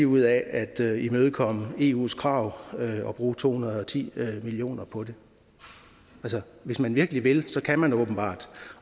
ud af at imødekomme eus krav og bruge to hundrede og ti million på det hvis man virkelig vil kan man åbenbart